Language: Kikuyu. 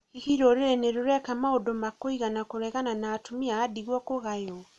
Hihi rũrĩrĩ nĩ rũreka maũndũ ma kũigana kũregana na atumia a ndigwa kũgaywo?